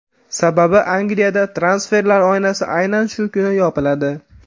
Sababi Angliyada transferlar oynasi aynan shu kuni yopiladi.